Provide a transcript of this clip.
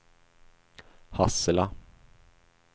Hassela